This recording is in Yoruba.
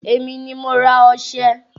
Èmi ni mo ra ọșẹ.